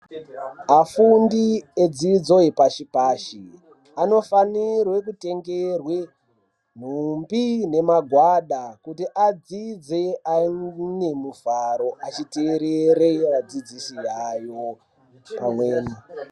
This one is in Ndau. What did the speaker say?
Afundi edzidzo yepashi pashi anofanirwe kutengerwe nhumbi nemagwada kuti adzidze ane mufaro achiteerere adzidzisi avo pamweni.